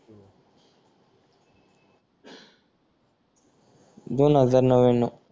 दोन हजार नव्यान्नव